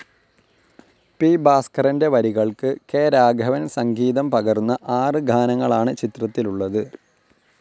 P. ഭാസ്കരൻ്റെ വരികൾക്ക് K. Raghavan സംഗീതം പകർന്ന ആറ് ഗാനങ്ങളാണ് ചിത്രത്തിലുളളത്.